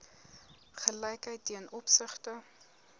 gelykheid ten opsigte